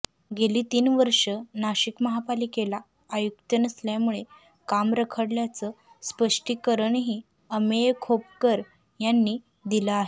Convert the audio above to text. गेली तीन वर्ष नाशिक महापालिकेला आयुक्त नसल्यामुळे काम रखडल्याचं स्पष्टीकरणही अमेय खोपकर यांनी दिलं आहे